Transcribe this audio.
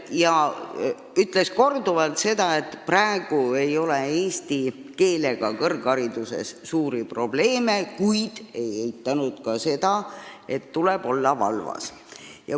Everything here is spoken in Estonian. Ta ütles korduvalt seda, et praegu ei ole kõrghariduses eesti keelega suuri probleeme, kuid ei eitanud ka seda, et tuleb olla valvas.